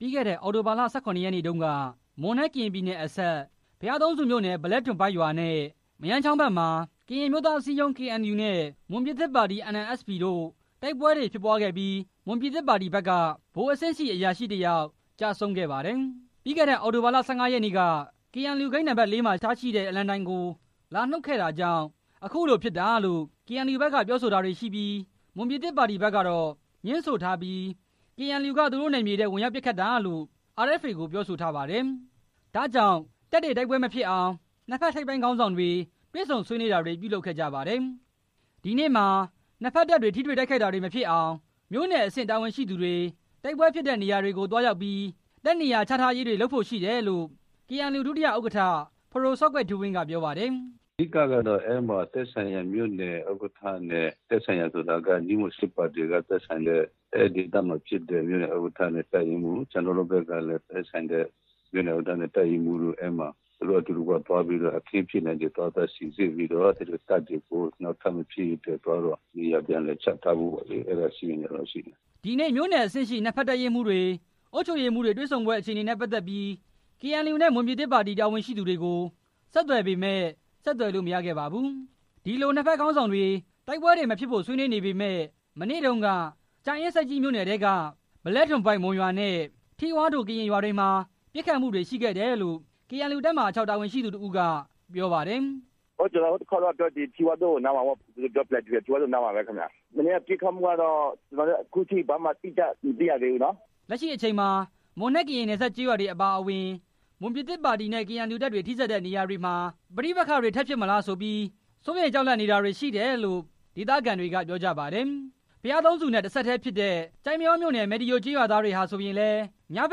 ပြီးခဲ့တဲ့အောက်တိုဘာလ ၁၇ ရက်နေ့တုန်းက ကရင်နဲ့ မွန်ပြည်နယ်အစပ် ဘုရားသုံးဆူမြို့နယ် ဗလဲ့ဒွန်ဖိုက်ရွာနဲ့ မရမ်းချောင်းဘက်မှာ ကရင်အမျိုးသားအစည်းအရုံး KNUနဲ့ မွန်ပြည်သစ်ပါတီ NMSP တို့ တိုက်ပွဲတွေဖြစ်ပွားခဲ့ပြီး မွန်ပြည်သစ်ပါတီဘက်က ဗိုလ်အဆင့်ရှိ အရာရှိတစ်ယောက် ကျဆုံးခဲ့ပါ တယ်။ ပြီးခဲ့တဲ့ အောက်တိုဘာ ၁၅ ရက်နေ့က KNU ဂိတ်နံပါတ် ၄ မှာထားရှိတဲ့ အလံတိုင်ကို လာနုတ်ခဲ့တာကြောင့် အခုလိုဖြစ်တာလို့ KNU ဘက်ကပြောဆိုတာတွေရှိပြီး မွန်ပြည်သစ်ပါတီဘက်ကတော့ ငြင်းဆိုထားပြီး KNU က သူတို့နယ်မြေထဲ ဝင်ရောက်ပစ်ခတ်တာလို့ RFA ကို ပြောဆိုထားပါတယ်။ ဒါကြောင့် တပ်တွေတိုက်ပွဲမဖြစ်အောင် နှစ်ဘက်ထိပ်ပိုင်းခေါင်းဆောင်တွေ တွေဆုံဆွေးနွေးတာတွေ ပြုလုပ်ခဲ့ ကြပါတယ်။ ဒီနေ့မှာ နှစ်ဘက်တပ်တွေ ထပ်ပြီးထိတွေတာတွေမဖြစ်အောင် မြို့နယ်အဆင့်တာဝန်ရှိသူတွေ တိုက်ပွဲဖြစ်ခဲ့ တဲ့နေရာတွေကို သွားရောက်ပြီး တပ်နေရာချထားရေးတွေလုပ်ဖို့ရှိတယ်လို့ KNU ဒုတိယဥက္ကဋ္ဌ ပဒိုစောကွယ်ထူးဝင်းက ပြောပါတယ်။ “အဓိကကတော့ အဲမှာသက်ဆိုင်ရာ မြို့နယ်ဥက္ကဋ္ဌနဲ့ သက်ဆိုရာ မွန်ပြည်သစ်ပါတီကလည်း မြို့နယ်ဥက္ကဋ္ဌနဲ့ တပ်ရင်းမှူး၊ ကျနော်တို့ ဘက်ကလည်း သက်ဆိုင်ရာမြို့နယ်ဥက္ကဋ္ဌနဲ့ တပ်ရင်းမှူး အဲမှာ သူတို့အတူတကွ သွား ပြီးတော့ အခင်းဖြစ်တဲ့နေရာကို သွားပြီး စိစစ်ပြီးတော့တပ်တွေကို နောက်ထပ်မဖြစ်ရေးအတွက် သွားပြီးတော့ နေရာပြန်လည်ချထားဖို့ အဲတာတော့ရှိမယ်” ဒီနေ့မြို့နယ်အဆင့်နှစ်ဖက် တပ်ရင်းမှူးတွေ၊ အုပ်ချုပ်ရေးမှူးတွေ တွေဆုံပွဲအခြေအနေနဲ့ ပတ်သက်ပြီး KNU နဲ့ မွန်ပြည်သစ်ပါတီ တာဝန်ရှိသူတွေကို ဆက်သွယ်ပေမယ့် ဆက်သွယ်လို့်မရခဲ့ပါဘူး။ ဒီလို့နှစ်ဘက်ခေါင်းဆောင်တွေ တိုက်ပွဲတွေမဖြစ်ဖို့ ဆွေးနွေးနေပေမယ့် မနေ့တုန်းက ကြာအင်းဆိပ်ကြီး မြို့နယ်ထဲက ဗလဲ့ဒွန်ဖိုက် ရွာနဲ့ ထီးဝါးဒို့ ရွာတွေမှာ ပစ်ခတ်မှုတွေရှိခဲ့တယ်လို့ KNU တပ်မဟာ ၆ တာဝန်ရှိသူတစ်ဦးက ပြောပါတယ်။ “ကျနော်ဟိုတခါပြောသလို့ ထီးဝါးဒိုနားမှာပေါ့ အဲနားမှာပဲခင်ဗျ၊ မနေ့တုန်းပစ်ခတ်မှုကတော့ ကျနော်လည်း အတိအကျ မသိရသေးဘူးနော်” လက်ရှိအချိန်မှာ မွန်နဲ့ကရင်နယ်စပ်က ကျေးရွာတွေအပါအဝင် မွန်ပြည်သစ်နဲ့ KNU တပ်တွေထိစပ်နေတဲ့နေရာတွေ မှာ ပဋိပက္ခတွေထပ်ဖြစ်မလားဆိုပြီး စိုးရိမ်ကြောက်လန့်နေတာတွေရှိတယ်လို့ ဒေသခံတွေကပြောကြပါတယ်။ ဘုရားသုံးဆူမြို့နယ်နဲ့ တစ်ဆက်တည်းဖြစ်တဲ့ ကျိုက်မရောမြို့နယ် မယ်တီရိုကျေးရွာသားတွေဟာဆိုရင်လည်း ညဘ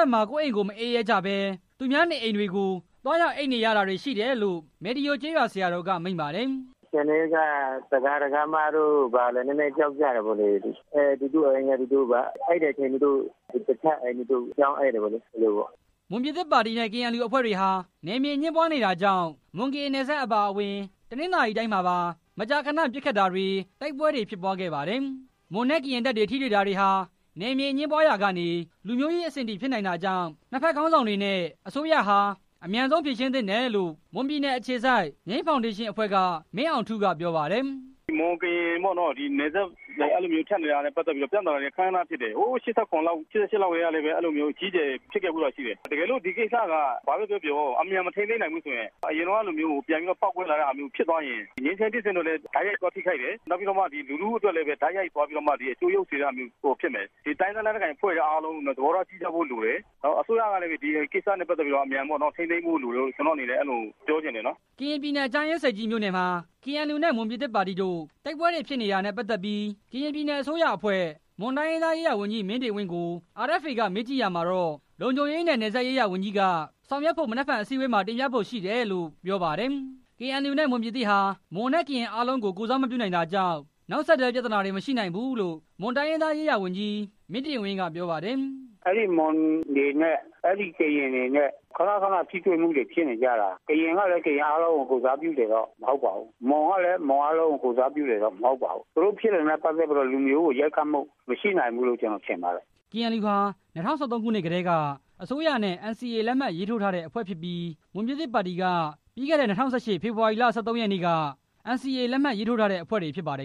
က်မှာ ကိုယ့်အိမ်ကို မအိပ်ရဲကြဘဲ သူများနေအိမ်တွေကို သွားရောက်အိပ်နေရတာတွေရှိတယ်လို့ မယ်တီရိုကျေးရွာက ဆရာတော်ကမိန့်ပါတယ်။ “အခြေအနေကတော့ ဒါယကာ ဒါယကာမာတွေကတော့ ကြောက်နေကြတာပေါ့၊ သူတို့အိပ်တဲ့အချိန်မှာ တခြားအိမ်တွေဆီ ပြောင်းအိပ်တယ်ပေါ့လေ” မွန်ပြည်သစ်ပါတီနဲ့ KNU အဖွဲ့တွေဟာ နယ်မြေအငြင်းပွားနေတာကြောင့် မွန်ကရင်နယ်စပ်အပါအဝင် တနင်္သာတိုင်းမှာပါ မကြာခဏ ပစ်ခတ်တာတွေ၊ တိုက်ပွဲတွေဖြစ်ပွားခဲ့ပါတယ်။ တိုင်းရင်းသားလက်နက်ကိုင်အဖွဲ့တွေ အားလုံး သဘောထားကြီးကြဖိ့ု လိုမယ် မွန်နဲ့ကရင်တပ်တွေ ထိတွေ့တာတွေဟာ နယ်မြေအငြင်း ပွားရာကနေ လူမျိုးရေးအဆင့်အထိ ဖြစ်နိုင်တာကြောင့် နှစ်ဖက်ခေါင်းဆောင်တွေနဲ့ အစိုးရဟာ အမြန်ဆုံးဖြေ ရှင်းသင့်တယ်လို့ မွန်ပြည်နယ်အခြေစိုက် ငြိမ်းဖောင်ဒေး ရှင်းအဖွဲ့က မင်းအောင်ထူး က ပြောပါတယ်။ “မွန်ကရင်နယ် အဲလိုနယ်မြေတွေ ထပ်တဲ့နေရာတွေမှာ ပဋိပက္ခတွေက ခဏခဏဖြစ်တယ်၊ ဟို ၁၉၈၇၊ ၁၉၈၈ လောက်ကလည်း အဲလိုမျိုးအကြီးအကျယ်ဖြစ်ခဲ့ဖူးတာ ရှိတယ်၊ ဒီကိစ္စဟာ အမြန်မထိန်းသိမ်းနိုင်ဘူးဆိုရင် အဲလိုမျိုးအရင်တုန်းကလို ပေါက်ကွဲတာမျိုးဖြစ်သွားခဲ့ရင် ငြိမ်းချမ်းရေးဖြစ်စဉ်ကိုလည်း တိုက်ရိုက်ထိခိုက်တယ်၊ လူထုအတွက်လည်း အကျိုးယုတ်တာတွေဖြစ်စေမယ်၊ တိုင်းရင်းသားလက်နက်ကိုင်အဖွဲ့တွေအားလုံး သဘော ထားကြီးကြဖိ့ုလိုမယ်၊ အစိုးရကလည်း ဒီကိစ္စကိုအမြန်ဆုံး ထိန်းသိမ်းဖို့လိုတယ်လို့ ပြောချင်တယ်” ကရင်ပြည်နယ် ကြာအင်းဆိပ်ကြီးမြို့နယ်မှာ KNU နဲ့ မွန်ပြည်သစ်ပါတီတို့ တိုက်ပွဲတွေဖြစ်တာနဲ့ ပတ် သက်ပြီး ကရင်ပြည်နယ်အစိုးရအဖွဲ့ မွန်တိုင်းရင်းသားရေးရာဝန်ကြီး မင်းတင်ဝင်းကို RFA က မေးကြည့်ရာမှာတော့ လုံခြုံရေးနဲ့ နယ်စပ်ရေးရာဝန်ကြီးက ဆောင်ရွက်ဖို့ မနက်ဖြန် အစည်းအဝေးမှာ တင်ပြဖို့ရှိတယ်လို့ ပြောပါတယ်။ KNU နဲ့ မွန်ပြည်သစ်ဟာ မွန်နဲ့ကရင်လူမျိုးအားလုံးကို ကိုယ်စားမပြုနိုင်တာကြောင့် နောက်ဆက်တွဲ ပြဿနာတွေ မရှိနိုင်ဘူးလို့ မွန်တိုင်းရင်းသားရေးရာဝန်ကြီး မင်းတင်ဝင်း ကပြောပါတယ်။ “အဲဒီမွန်တွေနဲ့ အဲဒီကရင်တွေ ခဏခဏထိတွေ့မှုတွေဖြစ်နေကြတာ၊ ကရင်ကလည်း ကရင်အားလုံးကို ကိုယ် စားပြုတာ မဟုတ်ပါဘူး၊ မွန်ကလည်း မွန်အားလုံးကို ကိုယ်စားပြုတာမဟုတ်ပါဘူး၊ သူတို့ဖြစ်နေတာတွေဟာ လူမျိုးကိုရိုက်ခတ်မယ်တော့ ကျနော်မထင်ပါဘူး” KNU ဟာ ၂၀၁၃ ခုနှစ်ကတည်းက အစိုးရနဲ့ NCA လက်မှတ်ရေးထိုးထားတဲ့အဖွဲ့ဖြစ်ပြီး မွန်ပြည်သစ်ပါတီက ပြီးခဲ့တဲ့ ဖေဖော်ဝါရီလ ၁၃ရက်နေ့က NCA လက်မှတ်ရေးထိုးထားတဲ့အဖွဲ့တွေ ဖြစ်ကြပါတယ်